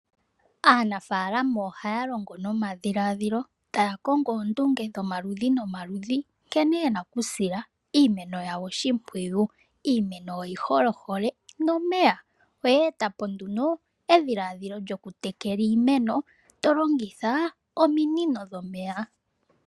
Aanafaalama ohaya longo nomadhiladhilo taya kongo oondunge dhomaludhi nomaludhi nkene yena okusila iimeno yawo oshimpwiyu. Iimeno oyi hole ohole nomeya. Oyeeta po nduno edhiladhilo lyokutekela iimeno to longitha ominino dhomeya.